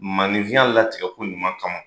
Maninfiya latigɛ ko ɲuman kan.